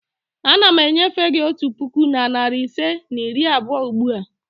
Ana m enyefe gị otu puku na narị ise na iri abụọ ugbu a.